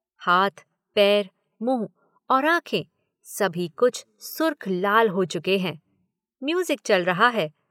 हाथ, पैर, मुँह और आँखें सभी कुछ सुर्ख लाल हो चुके हैं।